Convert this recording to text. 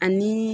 Ani